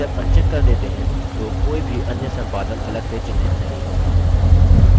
जब अनचेक कर देते हैं तो कोई भी अन्य संपादन अलग से चिन्हित नहीं होगा